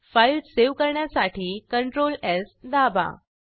file save करण्यासाठी CtrlS दाबा